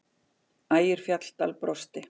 Ægir Fjalldal brosti.